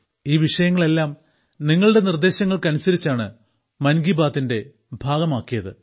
ഈ വിഷയങ്ങളെല്ലാം നിങ്ങളുടെ നിർദ്ദേശങ്ങൾക്കനുസരിച്ചാണ് മൻ കി ബാത്തിന്റെ ഭാഗമായത്